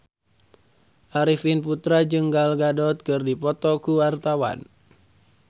Arifin Putra jeung Gal Gadot keur dipoto ku wartawan